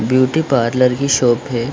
Beauty parlour की shop है।